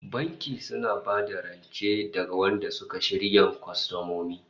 The bank gives loans to their preferred customers